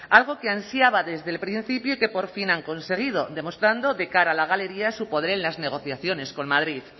algo que ansiaba desde el principio y que por fin han conseguido demostrando de cara a la galería su poder en las negociaciones con madrid